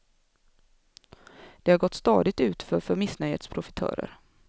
Det har gått stadigt utför för missnöjets profitörer.